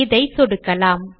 இதை சொடுக்கலாம்